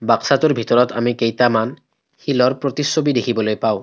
বাক্সাটোৰ ভিতৰত আমি কেইটামান শিলৰ প্ৰতিচ্ছবি দেখিবলৈ পাওঁ।